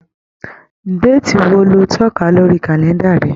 Déètì wo lo tọ́ka lórí kàlẹ́ǹdà rẹ?